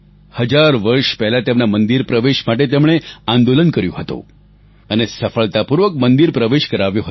હજાર વર્ષ પહેલા તેમના મંદિર પ્રવેશ માટે તેમણે આંદોલન કર્યું હતું અને સફળતાપૂર્વક મંદિર પ્રવેશ કરાવ્યો હતો